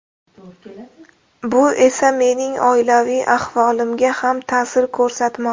Bu esa mening oilaviy ahvolimga ham ta’sir ko‘rsatmoqda.